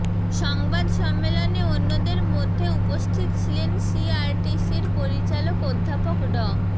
সংবাদ সম্মেলনে অন্যদের মধ্যে উপস্থিত ছিলেন সিআরটিসির পরিচালক অধ্যাপক ড